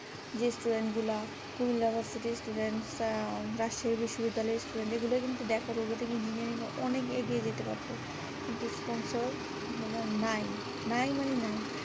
যে student গুলা Comilla versity র student রাশিয়া র বিস্ববিদ্যালয় এর student এগুলা কিন্তু দেখো robotic engineering এর অনেক এগিয়ে যেতে পারতো kintu sponsor নাই নাই মানে নাই